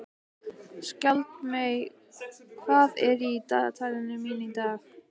Skjaldmey, hvað er í dagatalinu mínu í dag?